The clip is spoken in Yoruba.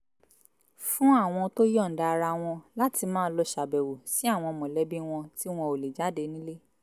fún àwọn tó yọ̀ǹda ara wọn láti máa lọ ṣàbẹ̀wò sí àwọn mọ̀lẹ́bí wọn tí wọn ò lè jáde nílé